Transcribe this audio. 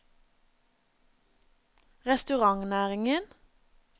restaurantnæringen